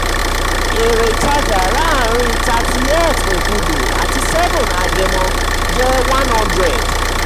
èrè ìtajà laarin thirtieth okudu ati seventh agẹmọ jẹ hundred.